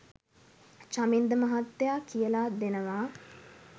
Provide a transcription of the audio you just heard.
චමින්ද මහත්තයා කියලා දෙනවා